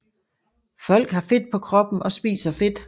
Folk har fedt på kroppen og spiser fedt